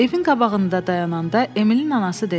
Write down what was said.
Evin qabağında dayananda Emilin anası dedi: